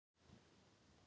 Mannorð hans hafi skaðast